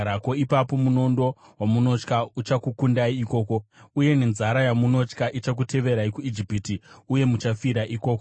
ipapo munondo wamunotya uchakukundai ikoko uye nenzara yamunotya ichakuteverai kuIjipiti, uye muchafira ikoko.